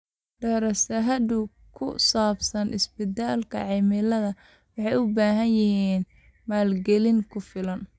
Daraasadaha ku saabsan isbeddelka cimilada waxay u baahan yihiin maalgelin ku filan.